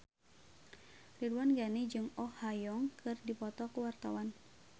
Ridwan Ghani jeung Oh Ha Young keur dipoto ku wartawan